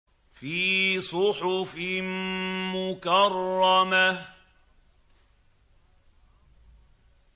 فِي صُحُفٍ مُّكَرَّمَةٍ